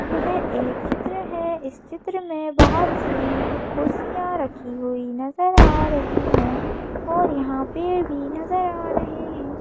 यह एक चित्र है इस चित्र में बहुत सी कुर्सियां रखी हुई नजर आ रही हैं और यहां पे भी नजर आ रहे हैं।